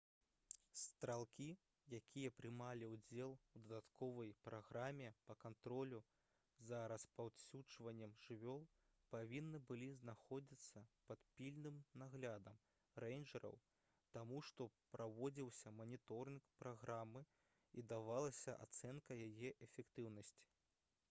стралкі якія прымалі ўдзел у дадатковай праграме па кантролю за распаўсюджваннем жывёл павінны былі знаходзіцца пад пільным наглядам рэйнджэраў таму што праводзіўся маніторынг праграмы і давалася ацэнка яе эфектыўнасці